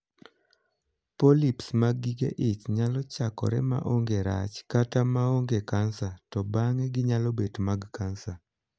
Polyps' mag gige ich nyalo chakore ma onge rach, kata ma onge kansa, to bang'e ginyalo bet mag kansa.